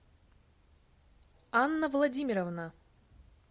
анна владимировна